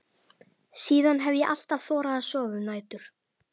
Síðan hef ég alltaf þorað að sofa um nætur.